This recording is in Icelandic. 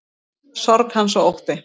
Sorg hans og ótti.